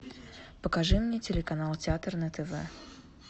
покажи мне телеканал театр на тв